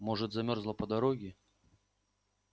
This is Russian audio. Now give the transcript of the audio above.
может замёрзла по дороге